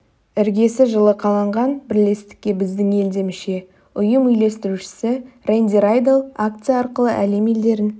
іргесі жылы қаланған бірлестікке біздің ел де мүше ұйым үйлестірушісі рэнди райдел акция арқылы әлем елдерін